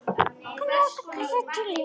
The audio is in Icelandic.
Knús og kossar til ykkar.